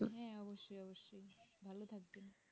হ্যাঁ অবশ্যই অবশ্যই ভালো থাকবেন